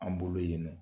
An bolo yen nɔ